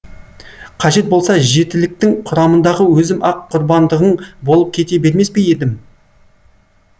қажет болса жетіліктің құрамындағы өзім ақ құрбандығың болып кете бермес пе едім